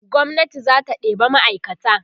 gwamnati zata ɗeba ma'aikata